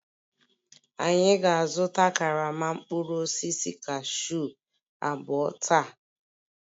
Anyị ga-azụta karama mkpụrụ osisi cashew abụọ taa